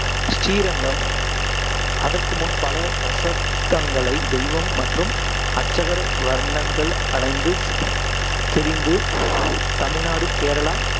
ஸ்ரீரங்கம் அதற்கு முன், பல தசப்தங்களை தெய்வம் மற்றும் அர்ச்சகர் வர்ணங்கள் அலைந்து திரிந்து, தமிழ்நாடு, கேரளா